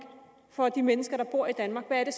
for de mennesker der bor i danmark hvad